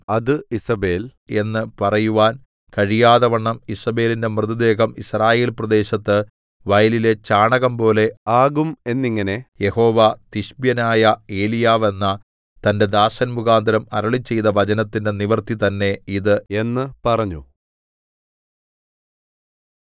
അത് ഈസേബെൽ എന്നു പറയുവാൻ കഴിയാതെവണ്ണം ഈസേബെലിന്റെ മൃതദേഹം യിസ്രായേൽപ്രദേശത്ത് വയലിലെ ചാണകംപോലെ ആകും എന്നിങ്ങനെ യഹോവ തിശ്ബ്യനായ എലീയാവ് എന്ന തന്റെ ദാസൻമുഖാന്തരം അരുളിച്ചെയ്ത വചനത്തിന്റെ നിവൃത്തി തന്നേ ഇത് എന്ന് പറഞ്ഞു